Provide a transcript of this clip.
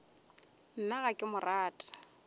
nna ga ke mo rate